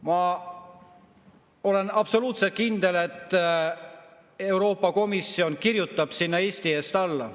Ma olen absoluutselt kindel, et Euroopa Komisjon kirjutab sinna Eesti eest alla.